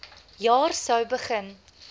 jaar sou begin